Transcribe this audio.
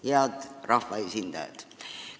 Head rahvaesindajad!